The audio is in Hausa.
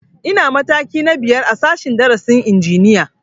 Ina mataki na biyar a sashen darasin injiniya